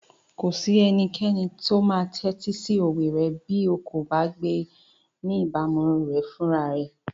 Kò sí ẹnikẹ́ni tó máa tẹ́tí sí òwe rẹ bí o kò bá gbé ní ìbámu rẹ̀ fúnra rẹ.